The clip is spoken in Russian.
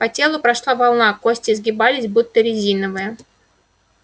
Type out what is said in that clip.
по телу прошла волна кости изгибались будто резиновые